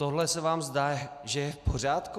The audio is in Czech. Tohle se vám zdá, že je v pořádku?